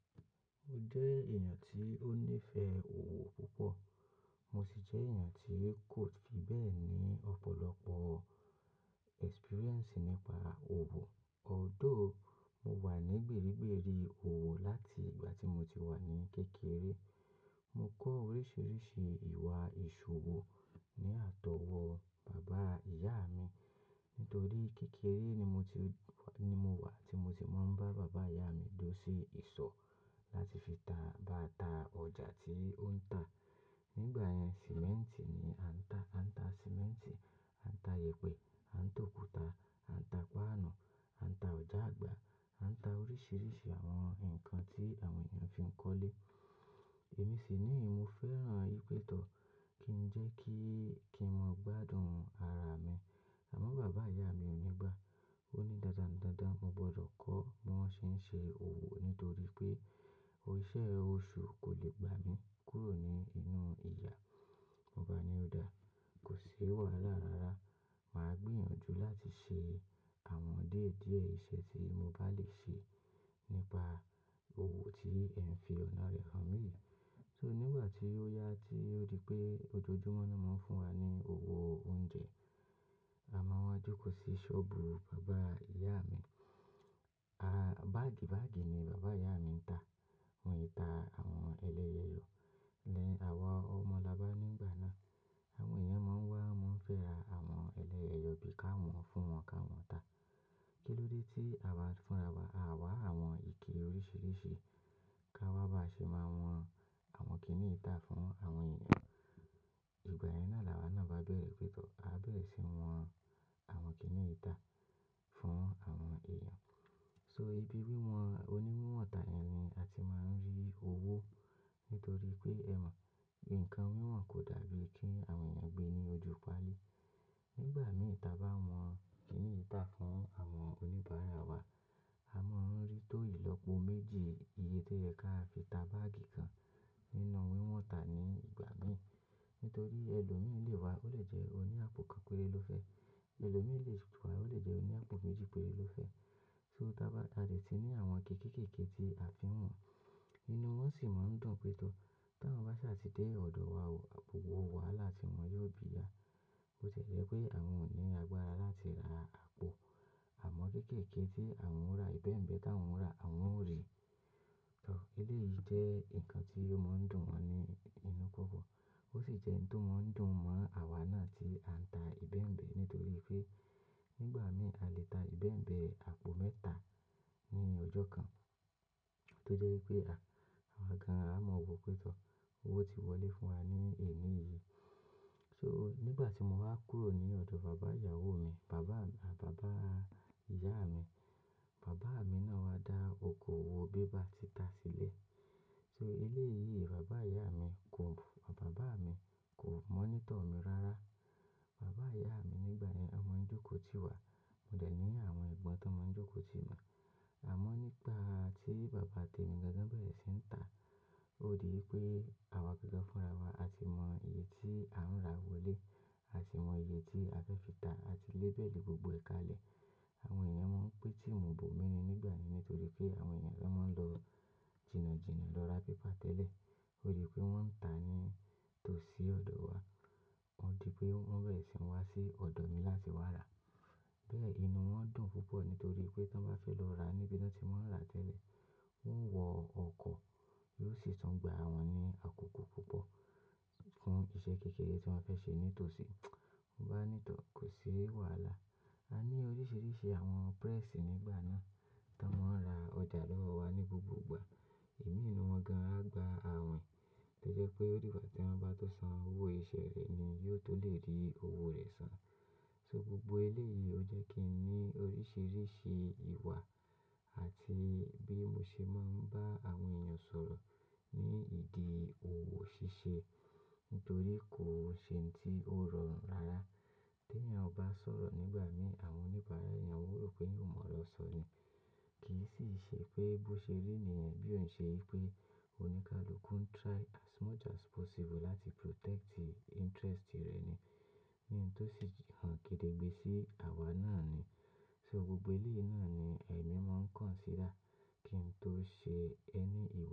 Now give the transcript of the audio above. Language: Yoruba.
Mo jẹ́ èèyàn tí ó ní ìfẹ́ òwò púpọ̀, mo sì jẹ́ èèyàn tí kò fi bẹ́ẹ̀ ní ọ̀pọ̀lọpọ̀ experience nípa òwò. Although mo wà ní gbérégbèrí òwò láti ìgbà tí mo ti wà ní kékeré. Mo kọ́ oríṣiríṣi ìwà ìṣòwò ní àtọwọ́ bàbá ìyá mi. Nítorí kékeré ni mo ti ni mo wà tí mo ti máa ń bá bàbá ìyá mi dúró sí ìsọ̀ láti fi ta bàtà ọjà tí ó ń ta. Nígbà yẹn, sìmẹ́ǹtì ni a ń ta. A ń ta sìmẹ́ǹtì, a ń ta yèèpẹ̀, a ń ta òkúta, a ń ta páànù, a ń ta ọjà àgbà, a ń ta oríṣiríṣi àwọn nǹkan tí àwọn èèyàn fi ń kọ́lé. Èmi sì ní mo fẹ́ràn ìpètọ́ kí n jẹ́ kí kí n mọ gbádùn ara mi. Àmọ́ bàbá ìyá mi ò ní gbà. Ó ní dándán, mo gbọdọ̀ kọ́ bíwọn ṣe ń ṣe òwò nítorí pé iṣẹ́ oṣù kò lè gbà mí kúrò ní inú ìyà. Mo bá ní òda, kò sí wàhálà rara. Màá gbìyànjú láti ṣe àwọn díẹ̀díẹ̀ iṣẹ́ tí mo bá lè ṣe nípa òwò tí ẹ̀ n fi ọ̀nà rẹ̀ hàn mí. So nígbà tí ó yá tí ó di pé ojoojúmọ́ náà máa ń fún wa ní òwò oúnjẹ, a máa wá jókòó sí sọ́ọ̀bù bàbá ìyá mi. Báàgì báàgì ni bàbá ìyá mi ń ta. Wọn e ta àwọn ẹlẹ́yeyọọ. Ní àwa ọmọ labá nígbà náà, àwọn èèyàn máa ń wá, máa ń fẹ́ ra àwọn ẹlẹ́yeyọọ bí i ká wọn fún wọn ká wọn ta. Kí ló dé tí a wá fúnra wa, a wá àwọn ìke oríṣiríṣi ká wá bá ṣe máa wọn àwọn kìníyi tà fún àwọn èèyàn. Ìgbà yẹn náà làwa náà bá bẹ̀rẹ̀ pètọ́. A bẹ̀rẹ̀ sí ní wọn àwọn kìní yi ta fún àwọn èèyàn. So ibi wíwọn oní wíwọ́n ta yẹn ni a ti máa ń rí owó. Nítorí pé ẹ mọ̀, nǹkan wíwọ̀n kò dàbí kí àwọn èèyàn gbé ní ojúpali. Nígbà mi ta bá wọ̀n kìniyi tà fún àwọn oníbàárà wa, a máa ń rí tó ìlọ́po méjì iye tó yẹ ká fi ta báàgì kan nínú wíwọ́n ta ní ìgbà mí. Nítorí ẹlòmí lè wá, ó lè jẹ́ oní àpò kan péré ló fẹ́. Ẹlòmí lè wá, ó lè jẹ́ oní àpò méjì péré ló fẹ́. So tá bá ta dè ti ní àwọn ike kéékèèké tí a fi ń wọn, inú wọn sì máa ń dùn pètọ́. Tán wan bá sì dé ọ̀dọ̀ wa ò, wò wàhálà tí wọn yóò bí ya. Bó tie jẹ́ pé àwọn ò ní agbára láti ra àpò. Àmọ́ kéékèèké tí àwọn ò rà, ìbẹ́mbẹ́ táwọn ò rà, àwọn ò rí. Tọ́ eléyìí jẹ́ nǹkan tí ó máa ń dùn wọn ní inú pọ́pọ̀. Ó sì jẹ́ ohun tó máa ń dùn mọ́ àwa náà tí à ń ta ìbẹ́mbẹ́ nítorí pé nígbà mii a lè ta ìbẹ́mbẹ́ àpò mẹ́ta ní ọjọ́ kan. Tó jẹ́ wípé àwa gan-an á mọ wò pè tọ́. Owó ti wọlé fún wa ní èní yìí. So nígbà tí mo wá kúrò ní ọ̀dọ̀ bàbá ìyàwó mi, bàbá ìyá mi, bàbá mi náà wá dá oko òwò bébà títa sílẹ̀. So eléyìí bàbá ìyá mi kò, bàbá mi kò monitor mi rárá. Bàbá ìyá mi nígbà yẹn, wọn máa ń jókòó tí wa. Mo dẹ̀ ní àwọn ìgbọ́n tó máa ń jókòó sí mi. Àmọ́ nígbà tí bàbá tèmi gangan bẹ̀rẹ̀ sí ń ta, ó di wípé àwa gangan fúnra wa. A ti mọ iye tí à ń rà wọlé, a sì mọ iye tí a fẹ́ fi ta, a ti label gbogbo èkalẹ̀. Àwọn èèyàn máa ń pè tí mu bò mí ni nígbà náà nítorí pé àwọn èèyàn fẹ́ máa ń lọ jìnàjìnà lọ ra pípà tẹ́lẹ̀. Ó di pé wọ́n ń ta ní tòsí ọ̀dọ̀ wa. Ó di pé wọ́n bẹ̀rẹ̀ sí ń wá sí ọ̀dọ̀ mi láti wá rà. Bẹ́ẹ̀ inú wọn dùn púpọ̀ nítorí pé tán bá fẹ́ lọ ra níbi tí wọn ti máa ń rà tẹ́lẹ̀, wọn ó wọ ọkọ̀, yóò sì tún gbà wọn ní àkókò púpọ̀ fún iṣẹ́ kékeré tí wọn fẹ́ ṣe nítòsí. Mo bá ní tọ̀, kò sí wàhálà. A ní oríṣiríṣi àwọn pírẹ́sì nígbà náà tí wọ́n máa ń ra ọjà lọ́wọ́ wa ní gbogbo ìgbà. Ìmí nú wọn gan-an á gba àwìn. Tó jẹ́ pé ó di ìgbà tí wọn bá tó san owó iṣẹ́ rẹ̀ ni yóò tó lè rí owó rẹ̀ san. So gbogbo eléyìí ó jẹ́ kí n ní oríṣiríṣi ìwà àti bí mo ṣe máa ń bá àwọn èèyàn sọ̀rọ̀ ní ìdí òwò ṣíṣe. Nítorí kò ṣe ohun tí ó rọrùn rárá. Tí èèyàn ò bá sọ̀rọ̀ nígbà mii, àwọn oníbàárà èèyàn ó rò pé èyàn ò mọ̀ ọ̀rọ̀ sọ ni. Kì í sì ṣe pé bó ṣe rí nìyẹn bí ò ń ṣe wípé oníkálukú ń try as much as possible láti protect interest rẹ̀ ni. Ní n tó sì hàn kedegbe sí àwa náà ni. So gbogbo eléyìí náà ni èmi máa ń consider kí n tó ṣe ẹni iw.